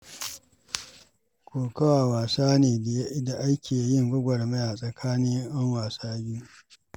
Kokawa wasa ne da ake yin gwagwarmaya tsakanin ƴan wasa biyu.